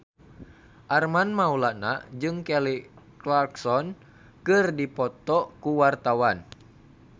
Armand Maulana jeung Kelly Clarkson keur dipoto ku wartawan